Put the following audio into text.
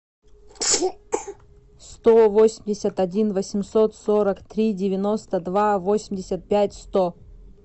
сто восемьдесят один восемьсот сорок три девяносто два восемьдесят пять сто